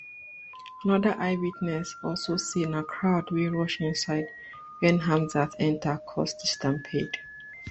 anoda eyewitness also say na crowd wey rush inside wen hamzat enta cause di stampede